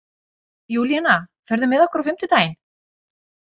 Júlíana, ferð þú með okkur á fimmtudaginn?